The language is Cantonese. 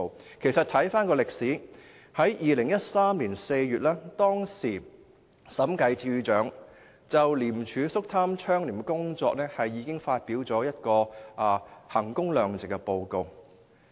回看歷史，審計署署長在2013年4月就廉署肅貪倡廉的工作發表了一份衡工量值式的審計報告。